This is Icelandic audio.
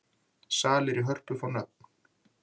Salir í Hörpu fá nöfn